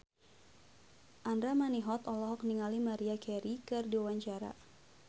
Andra Manihot olohok ningali Maria Carey keur diwawancara